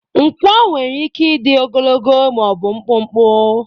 Nkwọ nwere ike ịdị ogologo ma ọ bụ mkpụmkpụ.